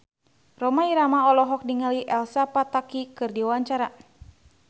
Rhoma Irama olohok ningali Elsa Pataky keur diwawancara